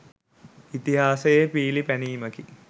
ඉතිහාසයේ පීලි පැනීමකි